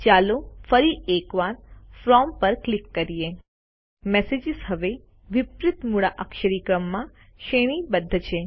ચાલો ફરી એક વાર ફ્રોમ પર ક્લિક કરીએ મેસેજીસ હવે વિપરીત મૂળાક્ષરી ક્રમમાં શ્રેણીબદ્ધ છે